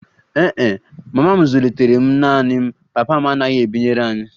Ee e, mama m zụlitere m naanị m, papa m anaghị ebinyere anyị